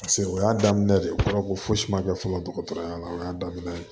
Paseke o y'a daminɛ de ye o kɔrɔ ko fosi ma kɛ fɔlɔ dɔgɔtɔrɔya la o y'a daminɛ ye